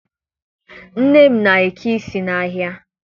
Nne m na-eke isi n'ahịa